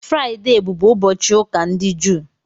Fraịde bụbụ ụbọchị ụka ndị Jụụ.